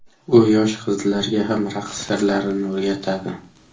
U yosh qizlarga ham raqs sirlarini o‘rgatadi.